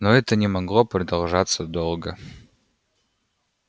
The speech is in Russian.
но это не могло продолжаться долго